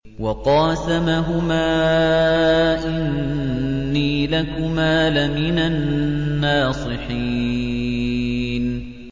وَقَاسَمَهُمَا إِنِّي لَكُمَا لَمِنَ النَّاصِحِينَ